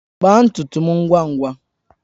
Kpaa ntutu m ngwa ngwa!